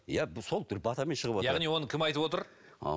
иә сол батамен шығып отырады яғни оны кім айтып отыр